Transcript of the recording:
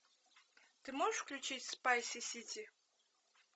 ты можешь включить спайси сити